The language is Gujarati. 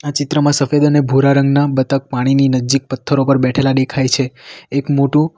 ચિત્રમાં સફેદ અને ભૂરા રંગના બતક પાણીની નજીક પથ્થરો પર બેઠેલા દેખાય છે એક મોટું--